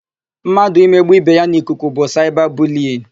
Mmadụ imegbu ibe ya n'ikuku bụ saịba buliyin.